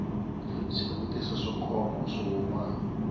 swivutiso swo koma swo huma